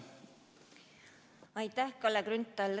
Aitäh, Kalle Grünthal!